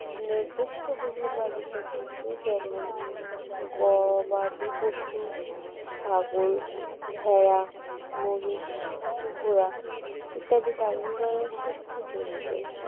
নির্দিষ্ট গৃহপালিত পশু যেমন গবাদি পশু ছাগল ভেড়া মহিষ ঘোড়া ইত্যাদি লালন পালনের সাথে জড়িত।